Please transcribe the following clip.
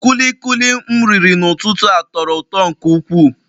Kulikuli m riri n'ụtụtụ a tọrọ ụtọ nke ukwuu